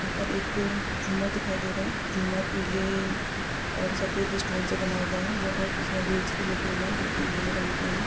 यहा पर एक जूमर दिखाई दे रहा है जुमर पीले और सफ़ेद स्योन से बना हुआ है यहा बोत इसमे वीडस भी लगे हुए है जोकि नीले रंग के है।